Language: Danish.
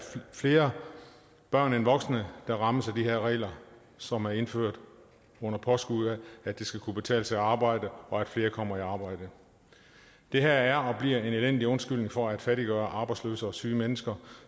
flere børn end voksne der rammes af de her regler som er indført under påskud af at det skal kunne betale sig at arbejde og at flere kommer i arbejde det her er og bliver en elendig undskyldning for at fattiggøre arbejdsløse og syge mennesker